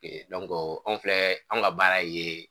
Ee anw filɛ anw ka baara ye.